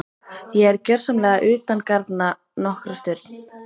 Ég er gjörsamlega utangarna nokkra stund.